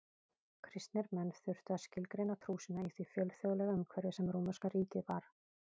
Kristnir menn þurftu að skilgreina trú sína í því fjölþjóðlega umhverfi sem rómverska ríkið var.